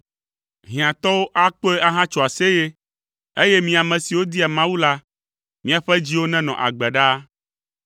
Hiãtɔwo akpɔe ahatso aseye, eye mi ame siwo dia Mawu la, míaƒe dziwo nenɔ agbe ɖaa!